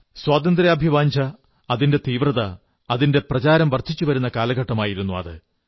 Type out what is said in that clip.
സ്വാതന്ത്ര്യാഭിവാഞ്ഛ അതിന്റെ തീവ്രത അതിന്റെ പ്രചാരം വർദ്ധിച്ചു വരുന്ന കാലഘട്ടമായിരുന്നു അത്